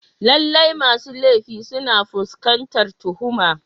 Lallai masu laifi suna fuskantar tuhuma.